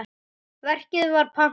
Verkið var pantað.